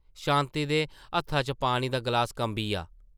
शांति दे हत्था च पानी दा ग्लास कंबी’आ ।